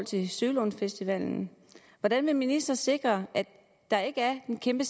til sølundsfestivalen hvordan vil ministeren sikre at der ikke er en kæmpe